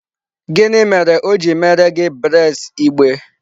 Gịnị mere o ji meere gị braids igbe?